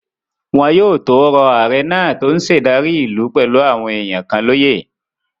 Wọn yóò tó rọ ààrẹ náà tó n ṣe ìdarí ìlú pẹ̀lú àwọn èèyàn kan lóyè